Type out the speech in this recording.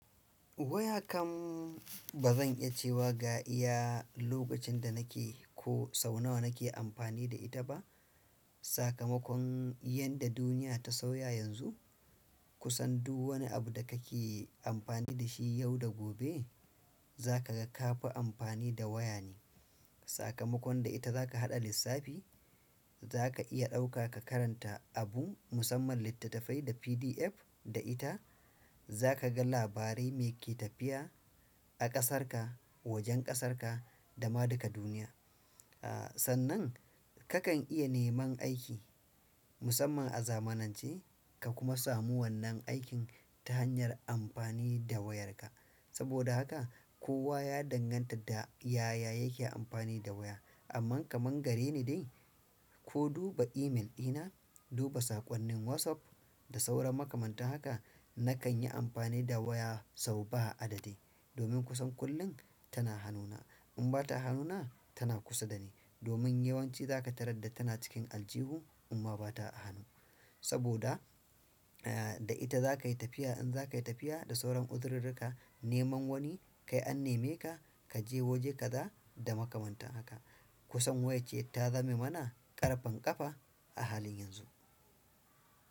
Waya kam ba zan iya cewa ga iya lokacin da nake ko sau nawa nake amfani da ita ba. Sakamakon yadda duniya ta sauya yanzu, kusan duk wani abu da kake amfani da shi yau da gobe za ka ga ka fi amfani da waya ne. Sakamakon da ita zaka haɗa lissafi, zaka iya ɗauka ka karanta abu, musamman litatafai da pdf da ita zakaga labarai meke tafiya a ƙasarka, wajen ƙasarka da ma duka duniya. Sannan kakan iya neman aiki, musamman a zamanance ka kuma samu wannan aikin, ta hanyar amfani da wayarka saboda haka kowa ya danganta da yaya yake amfani da waya. Amma kaman gare ni dai ko duba email dina, duba saƙonnin WhatsApp da sauran makamantan haka na kan yi amfani da waya sau ba a adadi. Domin kusan kullum tana hanuna. In ba ta hanuna tana kusa dani. Domin yawanci za ka tarar da tana cikin aljihu amma ba ta a hannu. Saboda da ita za ka yi tafiya in za ka yi tafiya da sauran uzururka neman wani kai an neme ka, ka je waje ka za da makamantan haka. Kusan waya ce ta zame mana ƙarfen ƙafa a halin yanzu.